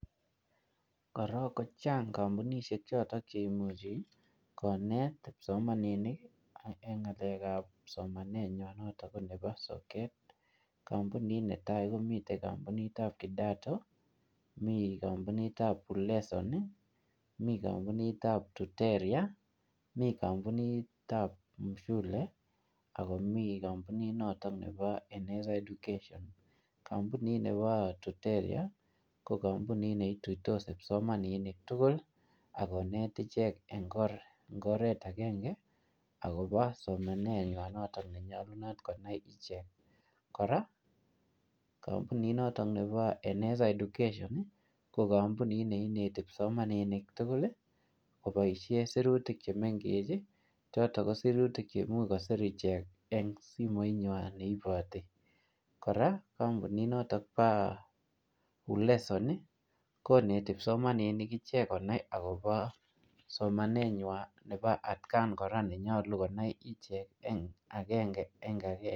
Korong kochang kampunisiek chotok cheimuch konet kipsomaninik en ng'alekab somanywan notok konebo soket, kampunit netai komii kampunitab kidato, mi kompunitab uleson, mi kamppunitab tuteria, mi kompunitab mshule ako mi kompunit noto nebo eneza education. kampuni nebo tuteria ko kampunit neituitos kipsomaninik tugul akonet ichek en ngoret akenge akopo somanenywa notok nenyolunot konai ichek, kora kampunit noto nepo eneza education ko kampunit neineti kipsomaninik tugul koboisien sirutik chemeng'ech chotok kosirutik cheimuch kosir ichek eng simoinywany neiboti, kora kampunit nepo uleson koneti kipsomaninik icheck konai akopo somanenywany nepo atkan kora nenyolu konai icheck eng akenge en akenge.